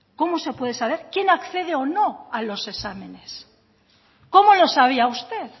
cómo se puede saber quién accede o no a los exámenes cómo lo sabía usted